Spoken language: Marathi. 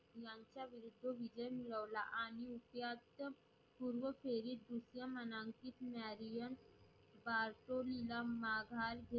तिथून विजय मिळवला, आणि यात्तम पूर्व फेरी दुसऱ्या मानांकीत न्यारीयन बाजोरील विजय मिळवला.